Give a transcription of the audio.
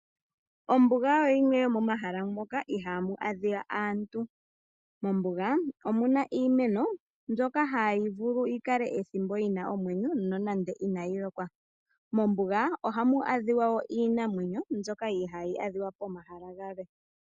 Ombuga oyo limwe yomomahala moka ihaamu adhika aantu. Mombuga omuna iimeno mbyoka hayi vulu yikale ethimbo yina omwenyo nonande inayi lokwa. Mombuga ohamu adhika iinamwenyo mbyoka ihaayi adhika pomahala galwe.